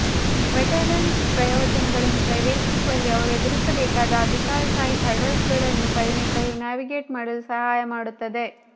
veterans ಪ್ರಯೋಜನಗಳನ್ನು ಪ್ರವೇಶಿಸುವಲ್ಲಿ ಅವರು ಎದುರಿಸಬಹುದಾದ ಅಧಿಕಾರಶಾಹಿ ಹರ್ಡಲ್ಗಳನ್ನು ಪರಿಣತರು ನ್ಯಾವಿಗೇಟ್ ಮಾಡಲು ಸಹಾಯ ಮಾಡುತ್ತದೆ